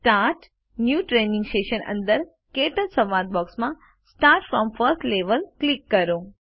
start new training session અંદર ક્ટચ સંવાદ બૉક્સમાં સ્ટાર્ટ ફ્રોમ ફર્સ્ટ લેવેલ પર ક્લિક કરો